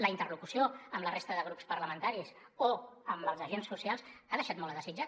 la interlocució amb la resta de grups parlamentaris o amb els agents socials ha deixat molt a desitjar